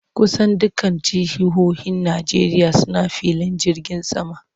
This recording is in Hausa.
Kusan dukkan jihohin Najeriya suna filin jirgin sama.